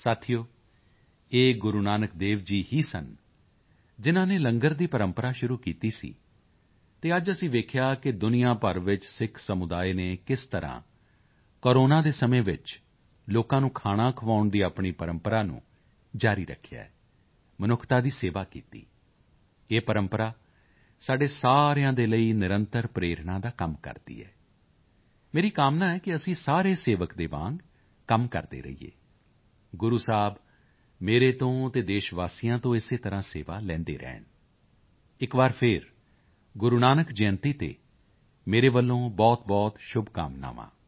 ਸਾਥੀਓ ਇਹ ਗੁਰੂ ਨਾਨਕ ਦੇਵ ਜੀ ਹੀ ਸਨ ਜਿਨ੍ਹਾਂ ਨੇ ਲੰਗਰ ਦੀ ਪ੍ਰੰਪਰਾ ਸ਼ੁਰੂ ਕੀਤੀ ਸੀ ਅਤੇ ਅੱਜ ਅਸੀਂ ਵੇਖਿਆ ਕਿ ਦੁਨੀਆ ਭਰ ਵਿੱਚ ਸਿੱਖ ਸਮੁਦਾਇ ਨੇ ਕਿਸ ਤਰ੍ਹਾਂ ਕੋਰੋਨਾ ਦੇ ਸਮੇਂ ਵਿੱਚ ਲੋਕਾਂ ਨੂੰ ਖਾਣਾ ਖਵਾਉਣ ਦੀ ਆਪਣੀ ਪ੍ਰੰਪਰਾ ਨੂੰ ਜਾਰੀ ਰੱਖਿਆ ਹੈ ਮਨੁੱਖਤਾ ਦੀ ਸੇਵਾ ਕੀਤੀ ਇਹ ਪ੍ਰੰਪਰਾ ਸਾਡੇ ਸਾਰਿਆਂ ਦੇ ਲਈ ਨਿਰੰਤਰ ਪ੍ਰੇਰਣਾ ਦਾ ਕੰਮ ਕਰਦੀ ਹੈ ਮੇਰੀ ਕਾਮਨਾ ਹੈ ਕਿ ਅਸੀਂ ਸਾਰੇ ਸੇਵਕ ਦੇ ਵਾਂਗ ਕੰਮ ਕਰਦੇ ਰਹੀਏ ਗੁਰੂ ਸਾਹਿਬ ਮੇਰੇ ਤੋਂ ਅਤੇ ਦੇਸ਼ ਵਾਸੀਆਂ ਤੋਂ ਇਸੇ ਤਰ੍ਹਾਂ ਸੇਵਾ ਲੈਂਦੇ ਰਹਿਣ ਇੱਕ ਵਾਰ ਫਿਰ ਗੁਰੂ ਨਾਨਕ ਜਯੰਤੀ ਤੇ ਮੇਰੇ ਵੱਲੋਂ ਬਹੁਤਬਹੁਤ ਸ਼ੁਭਕਾਮਨਾਵਾਂ